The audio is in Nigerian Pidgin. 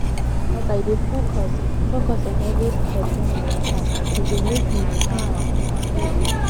as i dey focus focus on every step when i waka e dey make me calm and steady